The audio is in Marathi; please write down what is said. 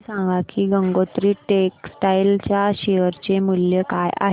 हे सांगा की गंगोत्री टेक्स्टाइल च्या शेअर चे मूल्य काय आहे